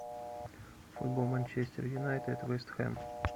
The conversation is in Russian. футбол манчестер юнайтед вест хэм